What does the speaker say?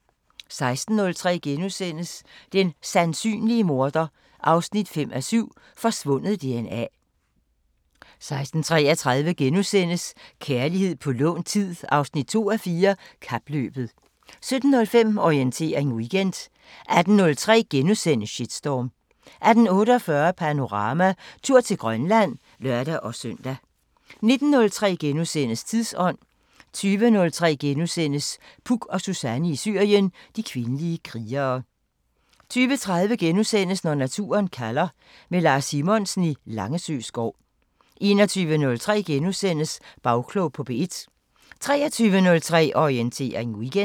16:03: Den sandsynlige morder 5:7 – Forsvundet DNA * 16:33: Kærlighed på lånt tid 2:4 – Kapløbet * 17:05: Orientering Weekend 18:03: Shitstorm * 18:48: Panorama: Tur til Grønland (lør-søn) 19:03: Tidsånd * 20:03: Puk og Suzanne i Syrien: De kvindelige krigere * 20:30: Naturen kalder – med Lars Simonsen i Langesø skov * 21:03: Bagklog på P1 * 23:03: Orientering Weekend